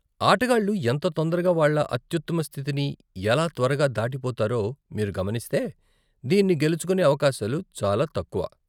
ఆటగాళ్లు ఎంత తొందరగా వాళ్ళ అత్యుత్తమ స్థితిని ఎలా త్వరగా దాటిపోతారో మీరు గమనిస్తే, దీన్ని గెలుచుకోనే అవకాశాలు చాలా తక్కువ.